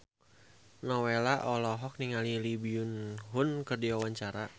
Nowela olohok ningali Lee Byung Hun keur diwawancara